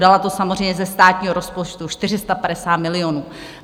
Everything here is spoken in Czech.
Dala to samozřejmě ze státního rozpočtu, 450 milionů.